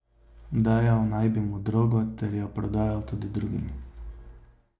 Dajal naj bi mu drogo ter jo prodajal tudi drugim.